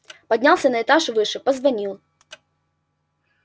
поднялся на этаж выше позвонил